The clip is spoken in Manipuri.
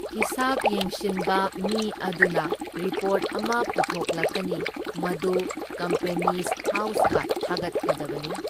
ꯍꯤꯁꯥꯞ ꯌꯦꯡꯁꯤꯟꯕ ꯃꯤ ꯑꯗꯨꯅ ꯔꯤꯄꯣꯔꯠ ꯑꯃ ꯄꯨꯊꯣꯛꯂꯛꯀꯅꯤ, ꯃꯗꯨ ꯀꯝꯄꯦꯅꯤꯁ ꯍꯥꯎꯁꯀ ꯊꯥꯒꯠꯀꯗꯕꯅꯤ꯫